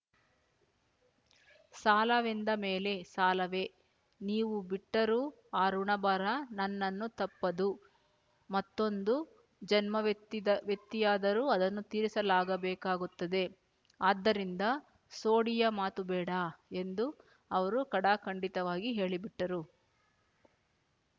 ಸಾಲವೆಂದ ಮೇಲೆ ಸಾಲವೇ ನೀವು ಬಿಟ್ಟರೂ ಆ ಋಣಭಾರ ನನ್ನನ್ನು ತಪ್ಪದು ಮತ್ತೊಂದು ಜನ್ಮವೆತ್ತಿದ ವೆತ್ತಿಯಾದರೂ ಅದನ್ನು ತೀರಿಸಲಾಗ ಬೇಕಾಗುತ್ತದೆ ಆದ್ದರಿಂದ ಸೋಡಿಯ ಮಾತು ಬೇಡ ಎಂದು ಅವರು ಖಡಾಖಂಡಿತವಾಗಿ ಹೇಳಿಬಿಟ್ಟರು